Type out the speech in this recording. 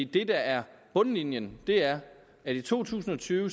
det der er bundlinjen er at i to tusind og tyve